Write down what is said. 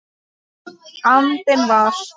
andinn var.